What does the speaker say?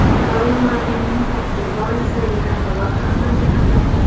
Doim murabbiyning tarkib borasidagi tanlovi hammaga ham yoqmaydi.